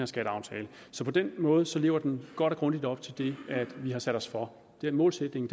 skatteaftale så på den måde lever den godt og grundigt op til det vi har sat os for den målsætning